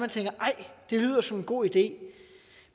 lyder som en god idé